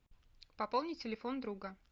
пополни телефон друга